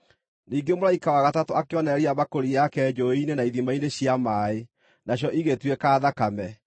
Ningĩ mũraika wa gatatũ akĩonoreria mbakũri yake njũũĩ-inĩ na ithima-inĩ cia maaĩ, nacio igĩtuĩka thakame.